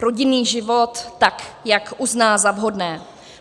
rodinný život, tak jak uzná za vhodné.